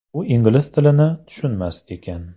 U ingliz tilini tushunmas ekan.